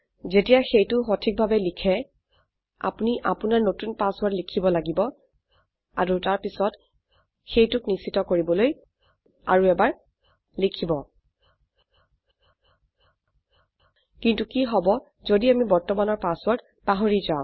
যেতিয়া সেইটো সঠিকভাবে লিখে আপোনি আপোনাৰ নতুন পাছৱৰ্ৰদ লিখিব লাগিব আৰু তাৰপিছত সেইটোক নিশ্চিত কৰিবলৈ আৰু এবাৰ লিখিব কিন্তু কি হব যদি আমি বৰ্তমানৰ পাছৱৰ্ৰদ পাহৰি যাও